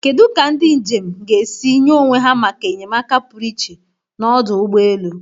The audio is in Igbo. Kedu ka ndị njem ka esi nye onwe ha maka enyemaka pụrụ iche n'ọdụ ụgbọ elu?